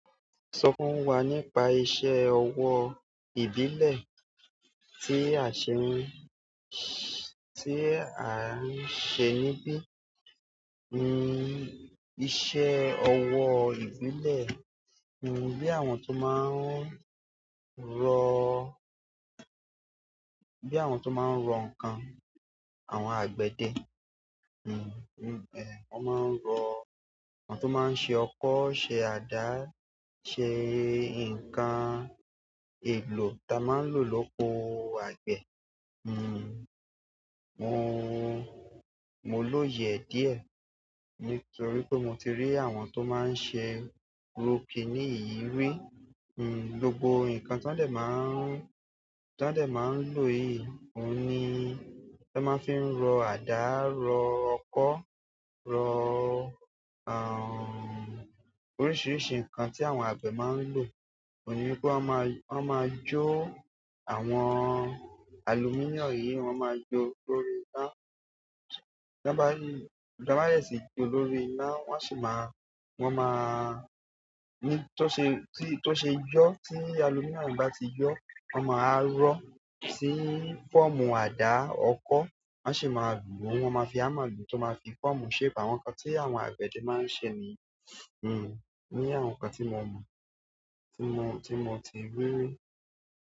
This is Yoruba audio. Sọ fún wa nípa iṣẹ́ ọwọ́ ìbílẹ̀ tí àṣemí, tí à ń ṣe níbí. Iṣẹ́ ọwọ́ ìbílẹ̀, bí àwọn tó máa ń rọ́, bi àwọn tó máa rọ n nǹkan, àwọn àgbède, àwọn tó máa n ṣe ọkọ, ṣe ada, ṣe nǹkan èlò ta maa n lo loko àgbè mo ló yẹ díẹ̀ nítorí pé mo ti rí àwọn tó máa ń ṣe irú kiní yìí rí. Gbogbo nǹkan tó dẹ̀ máa ń lò yìí, ohun ni wọn máa ń fi ń rọ àdá, rọ ọkọ́, rọ oríṣiríṣi nǹkan tí àwọn àgbẹ̀ máa ń lò. Ohun ni pé wọ́n máa jó àwọn alumíníọ̀mù yìí, wọ́n máa jó lórí iná. Bí wọ́n bá dè sí gbé lórí iná, wọ́n máa, ní tó ṣe yọ, tí aluminum bá ti yọ́, wọ́n máa rọ sí fọ́ọ̀mù àdá, ọkọ́, wọ́n sì máa lù ú, wọ́n máa fi hammer lùú tó máa fi fọ́ọ̀mù shape àwọn nǹkan tí àwọn àgbẹ̀dẹ máa ń ṣe ni. Ni àwọn nǹkan tí mo mọ̀, tí mo ti rirí.